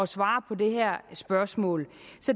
svare på det her spørgsmål